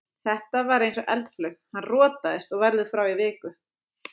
Þetta var eins og eldflaug, hann rotaðist og verður frá í viku.